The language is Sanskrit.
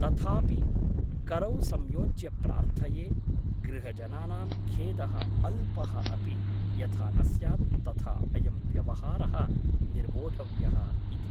तथापि करौ संयोज्य प्रार्थये गृहजनानां खेदः अल्पः अपि यथा न स्यात् तथा अयं व्यवहारः निर्वोढव्यः इति ।